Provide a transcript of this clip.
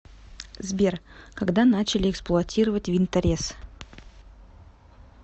сбер когда начали эксплуатировать винторез